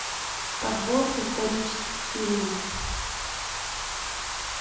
подборка исторических фильмов